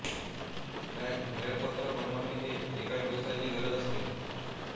bank मेळपत्रक बनवणे ही एका व्यवसायाची गरज असते